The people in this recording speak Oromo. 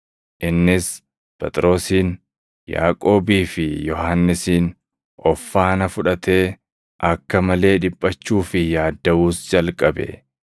Innis Phexrosin, Yaaqoobii fi Yohannisin of faana fudhatee, akka malee dhiphachuu fi yaaddaʼuus jalqabe.